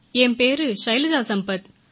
என் பெயர் ஷைலஜா சம்பத்